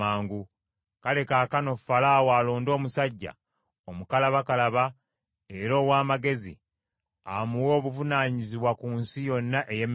Kale kaakano Falaawo alonde omusajja omukalabakalaba era ow’amagezi amuwe obuvunaanyizibwa ku nsi yonna ey’e Misiri.